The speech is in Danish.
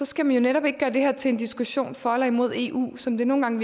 skal man jo netop ikke gøre det her til en diskussion for eller imod eu som det nogle gange